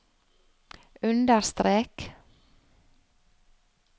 understrek